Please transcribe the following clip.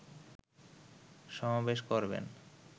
সমাবেশ করবেন